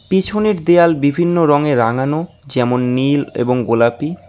পিছনের দেয়াল বিভিন্ন রঙে রাঙানো যেমন নীল এবং গোলাপী।